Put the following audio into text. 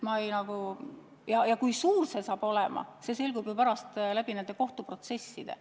Kui suur see saab olema, see selgub nendes kohtuprotsessides.